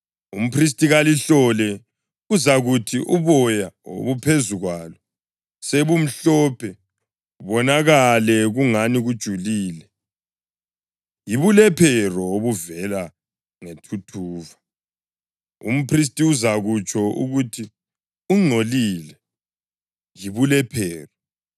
umphristi kalihlole, kuzakuthi nxa uboya obuphezu kwalo sebumhlophe, kubonakale kungani kujulile, yibulephero obuvela ngethuthuva. Umphristi uzakutsho ukuthi ungcolile, yibulephero.